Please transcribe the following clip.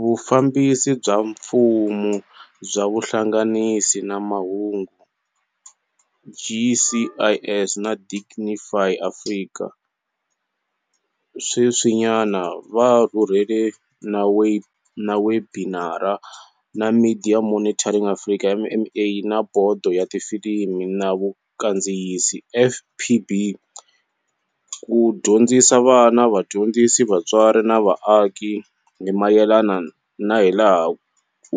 Vufambisi bya Mfumo bya Vuhlanganisi na Mahungu, GCIS, na Digify Africa sweswinyana va rhurhele na webinari na Media Monitoring Africa, MMA, na Bodo ya Tifilimi na Vukandziyisi, FPB, ku dyondzisa vana, vadyondzisi, vatswari na vaaki hi mayelana na hilaha